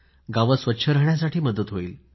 गावं स्वच्छ राहण्यासाठी मदत होईल